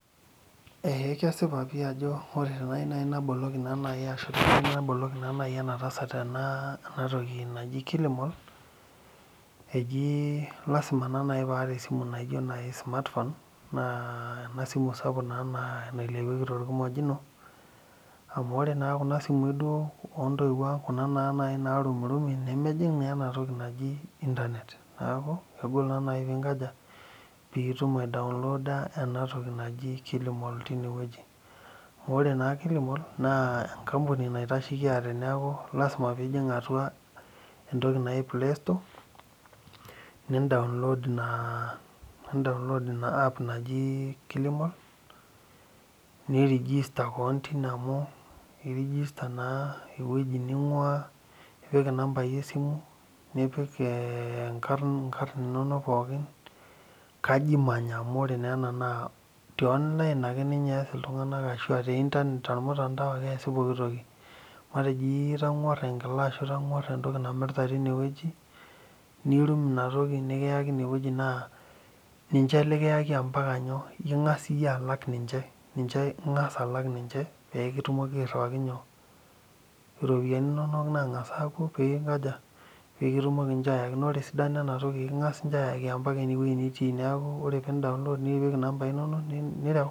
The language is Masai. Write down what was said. Eeeh kesipa pih ajoa ore teniyieu naaji naboloki enatasat ena toki naji kilomol eji lasima naa naaji paata esimu naji smartphone nailepieki torkimojino amu ore naa kuna simui oontoiuo ang naarumirumi nemejing ena toki naji internet neeku kegol naa naaji peinkaja piitum aidainloda ena toki naji kilimol ore naa kilimol naa enkampuni naitasheki aate neeku lasima peijing atua entoki naji playstore nidaulood ina app najii kilimol nirigista kewon tine amu irigistaa naa ewueji ning'uaa nipik inambai esimu nipik ee enkar inkar inonok pookin kaji imanya amu ore na eena naa tormutandao ake eesi pookin toki matejo iyieu nitang'uara enkila ashua itangu'aa entoki namirta tine wueji nirum inatoki niyaki ine weueji naa ninche likiyaki ombaka nyoo eking'as iyie alak ninche peekitumoki aairiwaki nyoo iropiyiani inonok naa ng'as aapuo peeinkaja peekitumomi ninche aayaki naa ore esidano ena toki ekiing'as ninche aaayaki ombaka ewueji nitii neeku ore peindaulod nipik inambai inonok nireu.